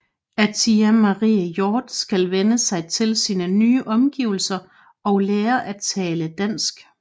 Atiya Marie Hjort skal vænne sig til sine nye omgivelser og lære at tale dansk